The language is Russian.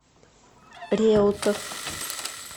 реутов